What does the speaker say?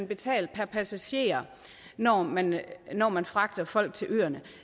betales per passager når man når man fragter folk til øerne